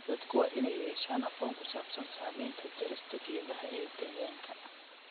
Dadku waa inay yeeshaan aqoon ku saabsan saameynta jarista geedaha ee deegaanka.